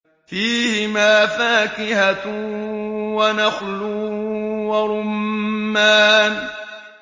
فِيهِمَا فَاكِهَةٌ وَنَخْلٌ وَرُمَّانٌ